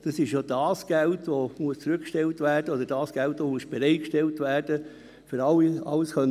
Das ist das Geld, das bereitgestellt werden muss, um alles bezahlen zu können.